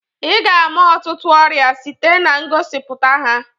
Ị ga-ama ọtụtụ ọrịa site na ngosipụta ha.